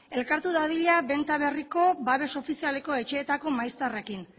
elkartu dadila benta berriko babes ofizialeko etxeetako maizterrekin